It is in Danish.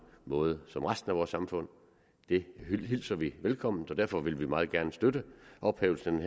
måde som i resten af vores samfund det hilser vi velkommen og derfor vil vi meget gerne støtte ophævelsen af